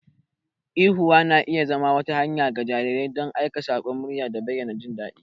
Ihuwa na iya zama wata hanya ga jarirai don aika sakon murya da bayyana jin daɗi.